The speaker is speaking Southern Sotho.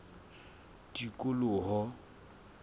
tikoloho